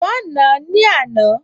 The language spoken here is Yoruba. Wọ́n nàá ní àná